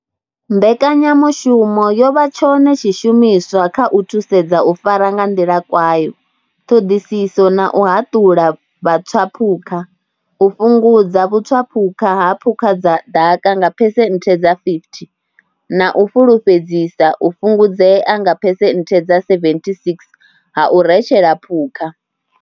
Mbekanyamushumo yo vha tshone tshishumiswa kha u thusedza u fara nga nḓila kwayo, ṱhoḓisiso na u haṱula vhatswaphukha u fhungudza vhutswaphukha ha phukha dza ḓaka nga phesenthe dza phesenthe dza 50 na u fhulufhedzisa u fhungudzea nga phesenthe dza 76 ha u retshela phukha.